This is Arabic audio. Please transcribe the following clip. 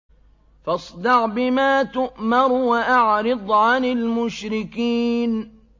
فَاصْدَعْ بِمَا تُؤْمَرُ وَأَعْرِضْ عَنِ الْمُشْرِكِينَ